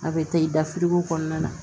A bɛ taa i da firigo kɔnɔna na